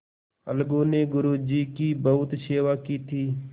अलगू ने गुरु जी की बहुत सेवा की थी